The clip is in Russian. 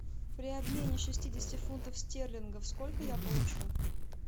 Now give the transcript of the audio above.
при обмене шестидесяти фунтов стерлингов сколько я получу